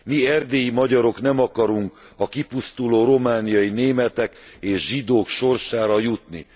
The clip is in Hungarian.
Mi, erdélyi magyarok, nem akarunk a kipusztuló romániai németek és zsidók sorsára jutni.